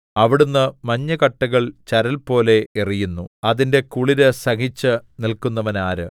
അവിടുന്ന് മഞ്ഞുകട്ടകൾ ചരൽ പോലെ എറിയുന്നു അതിന്റെ കുളിര് സഹിച്ചു നില്‍ക്കുന്നവനാര്